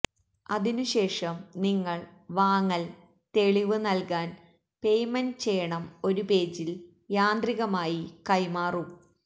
അതിനുശേഷം നിങ്ങൾ വാങ്ങൽ തെളിവ് നൽകാൻ പെയ്മെന്റ് ചെയ്യണം ഒരു പേജിൽ യാന്ത്രികമായി കൈമാറും